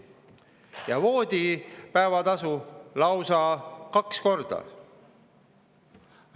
Ja voodipäevatasu lausa kaks korda!